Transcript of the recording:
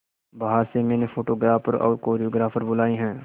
बाहर से मैंने फोटोग्राफर और कोरियोग्राफर बुलाये है